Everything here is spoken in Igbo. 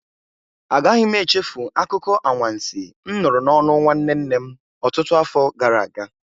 Agaghị m echefu akụkọ anwansi m nụrụ n'ọnụ nwanne nne m ọtụtụ afọ gara aga.